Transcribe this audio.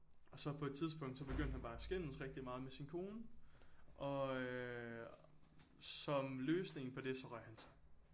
Og så på et tidspunkt så begyndte han bare at skændes rigtig meget med sin kone og øh som løsning på så røg han sig